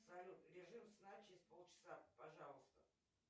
салют режим сна через полчаса пожалуйста